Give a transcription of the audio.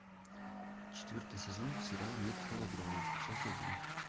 четвертый сезон сериал метод лавровой часть один